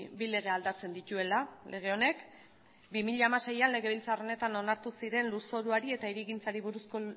bi lege aldatzen dituela lege honek bi mila hamaseian legebiltzar honetan onartu ziren lurzoruari eta hirigintzari buruzko